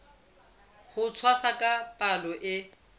ho tshwasa ka palo e